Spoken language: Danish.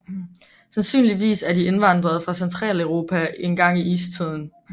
Sandsynligvis er de indvandret fra Centraleuropa engang i istiden